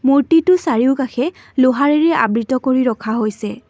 মূৰ্ত্তিটোৰ চাৰিওকাষে লোহৰেৰে আবৃত কৰি ৰখা হৈছে।